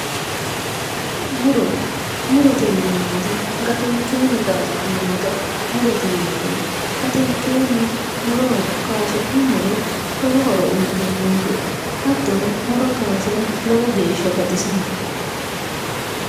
Muro murote yineemmoti gatenkeenni kaasi'neemmota murote yinanni gatenkeenni muro kayiisi'nummoro lowo horo uuyitannonke hattono muro kayiisira lowo geeshsha baxisanno.